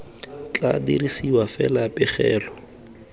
tla dirisiwa fa fela pegelo